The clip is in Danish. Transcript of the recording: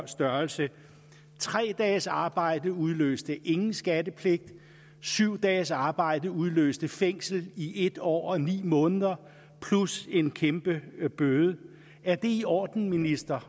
størrelse tre dages arbejde udløste ingen skattepligt syv dages arbejde udløste fængsel i en år og ni måneder plus en kæmpe bøde er det i orden minister